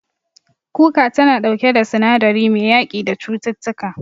Kuka tana ɗauke da sinadari mai yaƙi da cututtuka.